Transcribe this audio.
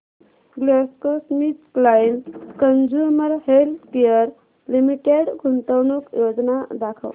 GlaxoSmithKline consumer healthcare limited गुंतवणूक योजना दाखव